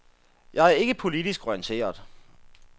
Jeg er ikke politisk orienteret.